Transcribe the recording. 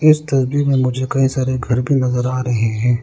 इस तस्वीर में मुझे कई सारे घर भी नजर आ रहे हैं।